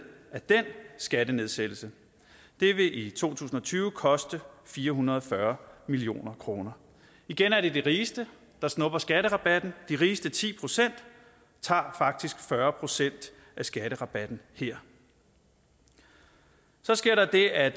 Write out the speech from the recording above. af den skattenedsættelse det vil i to tusind og tyve koste fire hundrede og fyrre million kroner igen er det de rigeste der snupper skatterabatten de rigeste ti procent tager faktisk fyrre procent af skatterabatten her så sker der det at